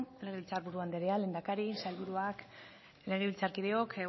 legebiltzar buru anderea lehendakari sailburuak legebiltzarkideok